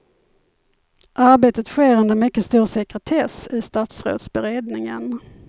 Arbetet sker under mycket stor sekretess i statsrådsberedningen.